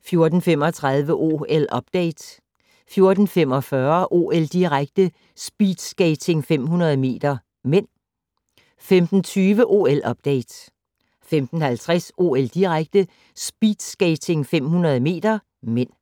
14:35: OL-update 14:45: OL-direkte: Speedskating 500 m (m) 15:20: OL-update 15:50: OL-direkte: Speedskating 500 m (m)